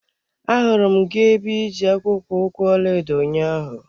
Ahụrụ m gị ebe iji akpụkpọ ụkwụ ọlaedo ụnyaahụ.